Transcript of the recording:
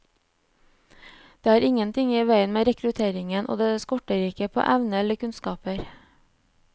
Det er ingenting i veien med rekrutteringen, og det skorter ikke på evner eller kunnskaper.